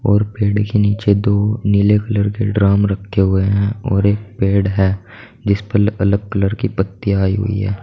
और पेड़ के नीचे दो नीले कलर के ड्रम रखे हुए हैं और एक पेड़ है जिस पर अलग कलर की पत्तियां आई हुई है।